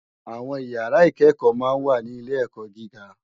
Awòn ìyàrá ikèékò mà n wá ni ilé èkò gigá